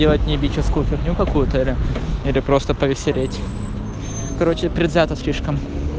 не бичевскую фигню какую-то или просто повисеть короче предвзято слишком